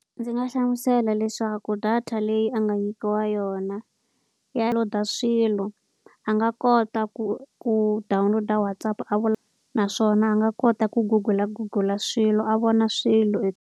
Ndzi nga hlamusela leswaku data leyi a nga nyikiwa yona ya swilo. A nga kota ku ku download-a WhatsApp a naswona a nga kota ku google-a, google-a swilo a vona swilo .